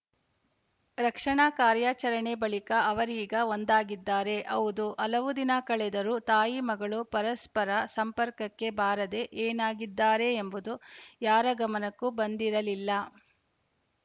ರಕ್ಷಣಾ ಕಾರ್ಯಚರಣೆ ಬಳಿಕ ಅವರೀಗ ಒಂದಾಗಿದ್ದಾರೆ ಹೌದು ಹಲವು ದಿನ ಕಳೆದರೂ ತಾಯಿಮಗಳು ಪರಸ್ಪರ ಸಂಪರ್ಕಕ್ಕೆ ಬಾರದೆ ಏನಾಗಿದ್ದಾರೆ ಎಂಬುದು ಯಾರ ಗಮನಕ್ಕೂ ಬಂದಿರಲಿಲ್ಲ